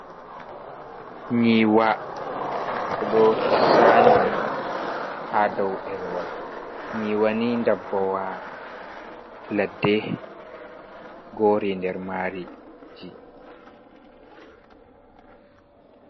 Nyiwa ɓeɗo zanij ha dau’ɗerewal, nyiwani dabbawa ladde gori nder mari ji.